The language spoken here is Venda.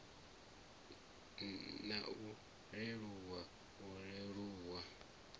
na u leluwa u leluwa